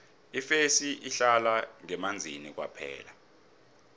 ifesi ihlala ngemanzini kwaphela